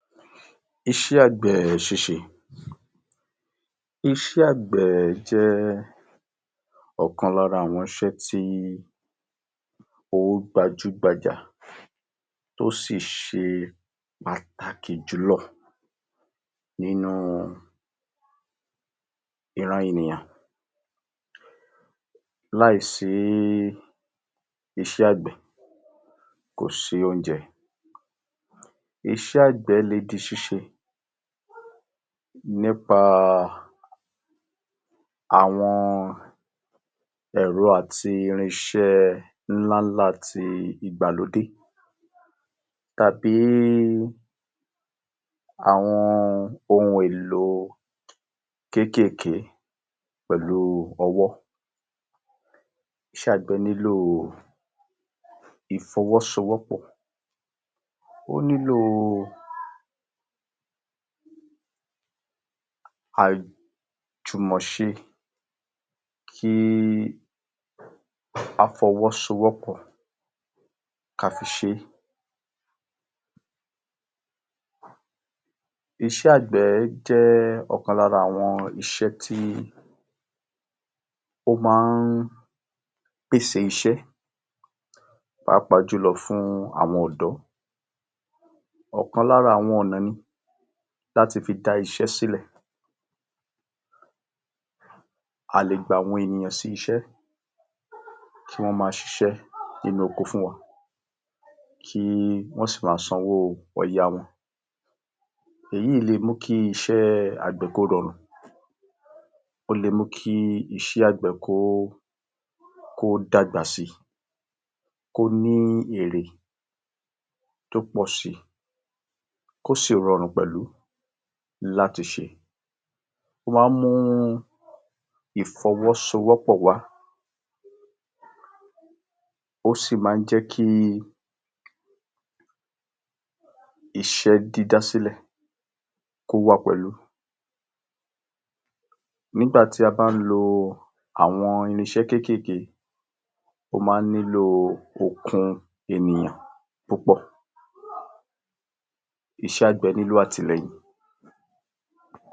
Iṣẹ́ àgbẹ̀ ṣíṣe, iṣẹ́ àgbẹ̀ jẹ́ ọ̀kan lára àwọn iṣẹ́ tí ó gbajú-gbajà tó sì ṣe pàtàkì jù lọ nínu ìran ènìyàn láì sí iṣẹ́ àgbẹ̀ kò sí óúnjẹ, iṣẹ́ àgbẹ̀ lè di ṣíṣe nípa àwọn ẹ̀rọ àti irinṣé ńlá ńlá ti igbàlódé tàbí àwọn ohun èlò kékèké pẹ̀lú ọwọ́ ìfọwọ́sowọ́pọ̀, o ́ nílò ajùmọ̀ṣe ki áfọwọ́sowọ́pọ̀ ká fi ṣe, iṣẹ́ àgbẹ̀ jẹ́ ọ̀kan lára àwọn iṣẹ́ tí ó máa ń pèsè iṣẹ́ pàápàa jùlọ fún àwọn ọ̀dọ́, ọ̀kan lára àwọn ọ̀nà ni láti fi dá iṣẹ́ sílẹ̀, a lè gba ènìyàn sí iṣẹ́ kí wọ́n ma ṣiṣẹ́ nínu oko fún wa kí wọ́n sì ma san owó ọya wọn, èyí lè mú kí iṣẹ́ àgbẹ̀ kó rarùn, ó lè mú kí iṣẹ́ àgbẹ̀ kó kó dàgbà si, kó ní èrè tó pọ̀ si, kó sì rarùn pẹ̀lú láti ṣe, ó wá mú ìfọwọ́sowọ́pọ̀ wà ó sì máa ń jẹ́ kí iṣẹ́ dídá sílẹ̀ kó wà pẹ̀lú nígbàtí a bá lo àwọn irinṣẹ́ kékèké ó máa ń nílò okun ènìyàn púpọ̀ iṣẹ́ àgbẹ̀ nílò atìlẹ̀yìn.